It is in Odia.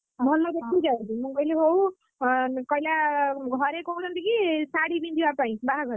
ମୁଁ କହିଲି ହଉ ହଁକହିଲା ଘରେ କହୁଛନ୍ତି କି ଶାଢୀ ପିନ୍ଧିବା ପାଇଁ ବାହାଘର ଦିନ।